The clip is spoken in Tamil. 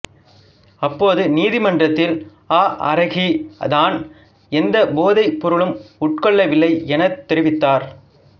அப்போது நீதிமன்றத்தில் ஆஅராகி தான் எந்த போதைப் பொருளும் உட்கொள்ளவில்லை எனத் தெரிவித்தார்